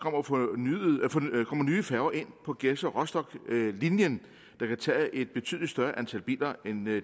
kommer nye færger ind på gedser rostock linjen der kan tage et betydeligt større antal biler end